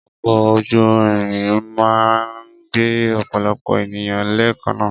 Ọkọ́ ojú irin máa ń gbé ọ̀pọ̀lọpọ̀ ènìyàn lẹ́ẹ̀kanaa